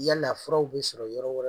Yala furaw bɛ sɔrɔ yɔrɔ wɛrɛ